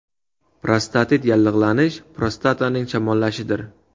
Prostatit yallig‘lanish, prostataning shamollashidir.